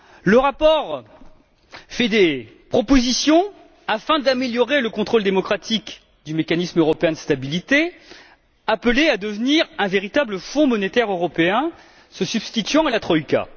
Le rapport fait des propositions visant à améliorer le contrôle démocratique du Mécanisme européen de stabilité, appelé à devenir un véritable Fonds monétaire européen se substituant à la troïka.